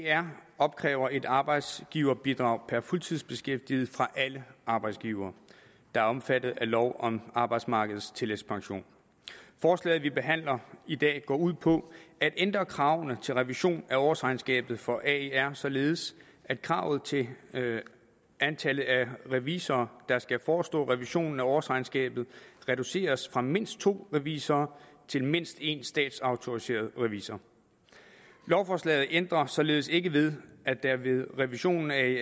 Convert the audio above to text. aer opkræver et arbejdsgiverbidrag per fuldtidsbeskæftiget fra alle arbejdsgivere der er omfattet af lov om arbejdsmarkedets tillægspension forslaget vi behandler i dag går ud på at ændre kravene til revision af årsregnskabet for aer således at kravet til antallet af revisorer der skal forestå revisionen af årsregnskabet reduceres fra mindst to revisorer til mindst en statsautoriseret revisor lovforslaget ændrer således ikke ved at der ved revisionen af